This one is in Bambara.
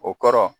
O kɔrɔ